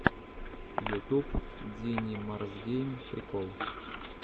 ютуб динимарсгейм прикол